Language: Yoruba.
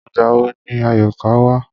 Ìgbà wo ni Àyọ̀ká wá?